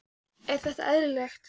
Er þetta eðlilegt?